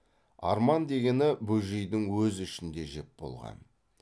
арман дегені бөжейдің өз ішін де жеп болған